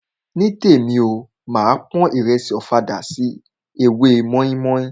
Nítèmi o, máa pon ìrẹsì ọ̀fadà sí ewé mọ́ímọ́í.